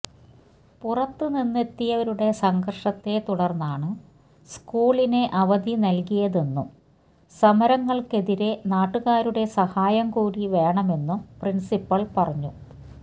പുറത്ത് നിന്നെത്തിയവരുടെ സംഘര്ഷത്തേ തുടര്ന്നാണ് സ്കൂളിന് അവധി നല്കിയതെന്നും സമരങ്ങള്ക്കെതിരേ നാട്ടുകാരുടെ സഹായം കൂടി വേണമെന്നും പ്രിന്സിപ്പല് പറഞ്ഞു